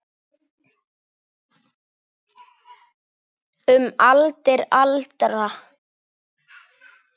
Um aldir alda.